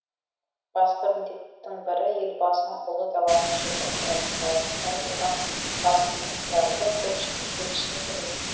басты міндеттің бірі елбасының ұлы даланың жеті қыры мақаласында айтылған басымдықтарды көпшілікке түсіндіру